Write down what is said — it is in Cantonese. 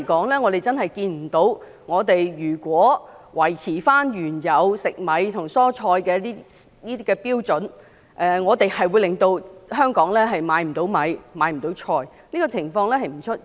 但目前來說，如果維持原有食米和蔬菜的有關標準，我們真的看不到會令香港沒有米和蔬菜的供應，這種情況並不會出現。